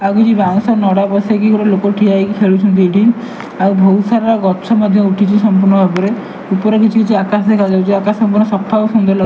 ଆଉ କିଛି ବାଉଁଶ ନଡ ପସେଇକି ଗୋଟେ ଲୋକ ଠିଆ ହେଇକି ଖେଳୁଛନ୍ତି ଏଠି ଆଉ ବହୁତ୍ ସାରା ଗଛ ମଧ୍ୟ ଉଠିଛି ସମ୍ପୂର୍ଣ୍ଣ ଭାବରେ ଉପରେ କିଛି କିଛି ଆକାଶ ଦେଖା ଯାଉଛି ଆକାଶ ପୁରା ସଫା ଆଉ ସୁନ୍ଦର୍।